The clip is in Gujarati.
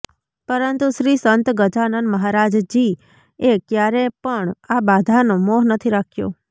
પરંતુ શ્રી સંત ગજાનન મહારાજજી એ ક્યારે પણ આ બધાનો મોહ નથી રાખ્યો